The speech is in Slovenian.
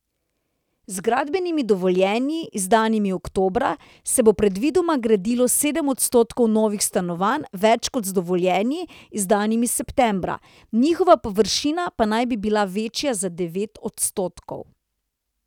Z gradbenimi dovoljenji, izdanimi oktobra, se bo predvidoma gradilo sedem odstotkov novih stanovanj več kot z dovoljenji, izdanimi septembra, njihova površina pa naj bi bila večja za devet odstotkov.